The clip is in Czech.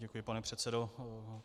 Děkuji, pane předsedo.